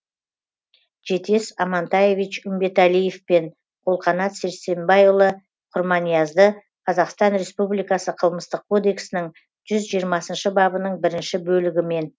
жетес амантаевич үмбеталиев пен қолқанат сәрсенбайұлы құрманиязды қазақстан республикасы қылмыстық кодексінің жүз жиырмасыншы бабының бірінші бөлігімен